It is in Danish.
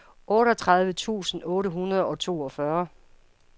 otteogtredive tusind otte hundrede og toogfyrre